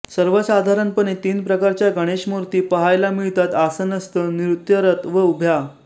सर्वसाधारणपणे तीन प्रकारच्या गणेशमूर्ती पहायला मिळतात आसनस्थ नृत्यरत व उभ्या